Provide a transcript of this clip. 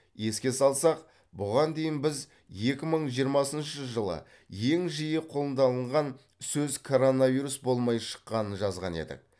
еске салсақ бұған дейін біз екі мың жиырмасыншы жылы ең жиі қолданылған сөз коронавирус болмай шыққанын жазған едік